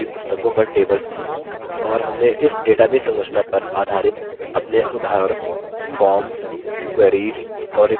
और हमने इस database संरचना पर आधारित अपने उदाहरण forms queries और reports बनाये थे